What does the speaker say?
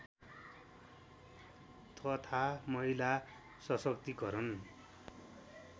तथा महिला सशक्तिकरण